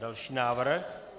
Další návrh.